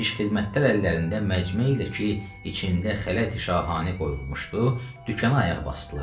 Piş xidmətlər əllərində məcmə ilə ki, içində xələti şahanə qoyulmuşdu, dükan ayaq basdılar.